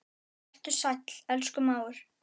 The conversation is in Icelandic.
Vertu sæll, elsku mágur.